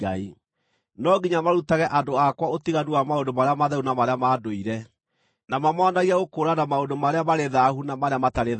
No nginya marutage andũ akwa ũtiganu wa maũndũ marĩa matheru na marĩa ma ndũire, na mamoonagie gũkũũrana maũndũ marĩa marĩ thaahu na marĩa matarĩ thaahu.